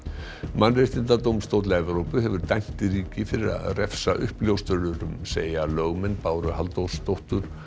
mannréttindadómstóll Evrópu hefur dæmt ríki fyrir að refsa uppljóstrurum segja lögmenn Báru Halldórsdóttur